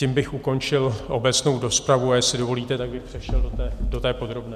Tím bych ukončil obecnou rozpravu a jestli dovolíte, tak bych přešel do té podrobné.